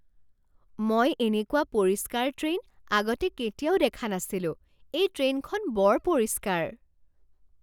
মই এনেকুৱা পৰিষ্কাৰ ট্ৰেইন আগতে কেতিয়াও দেখা নাছিলোঁ! এই ট্ৰেইনখন বৰ পৰিষ্কাৰ!